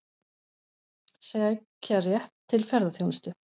Sækja rétt til ferðaþjónustu